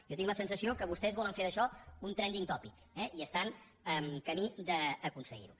jo tinc la sensació que vostès volen fer d’això un trending topictan camí d’aconseguir ho